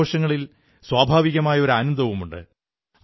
ഈ ആഘോഷങ്ങളിൽ സ്വാഭാവികമായ ഒരു ആനന്ദവും ഉണ്ട്